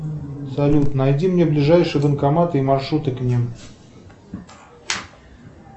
салют найди мне ближайший банкомат и маршруты к ним